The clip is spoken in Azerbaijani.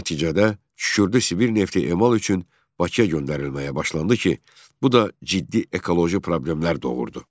Nəticədə xüsusilə Sibir nefti emal üçün Bakıya göndərilməyə başlandı ki, bu da ciddi ekoloji problemlər doğurdu.